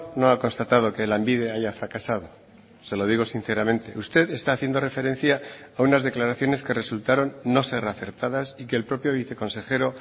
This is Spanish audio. no ha constatado que lanbide haya fracasado se lo digo sinceramente usted está haciendo referencia a unas declaraciones que resultaron no ser acertadas y que el propio viceconsejero